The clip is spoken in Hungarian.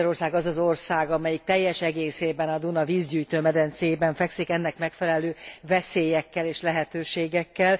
Magyarország az az ország, amelyik teljes egészében a Duna vízgyűjtő medencéjében fekszik, ennek megfelelő veszélyekkel és lehetőségekkel.